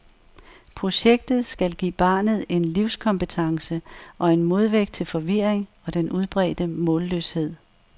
Projektet skal give barnet en livskompetence og en modvægt til forvirring og den udbredte målløshed.